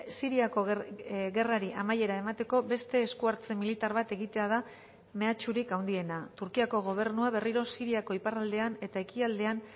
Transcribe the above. siriako gerrari amaiera emateko beste esku hartze militar bat egitea da mehatxurik handiena turkiako gobernua berriro siriako iparraldean eta ekialdean